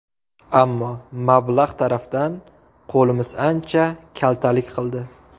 Ammo... mablag‘ tarafdan qo‘limiz ancha kaltalik qildi.